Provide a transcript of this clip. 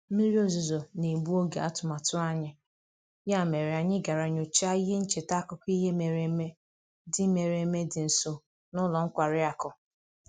Mmiri ozuzo na-egbu oge atụmatụ anyị, ya mere anyị gara nyochaa ihe ncheta akụkọ ihe mere eme dị mere eme dị nso na ụlọ nkwari akụ